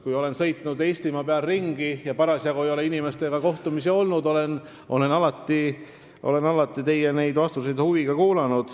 Kui ma sõitsin Eestimaal ringi ja mul parasjagu ei olnud kohtumisi, siis ma kuulasin alati huviga teie vastuseid.